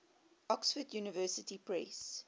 oxford university press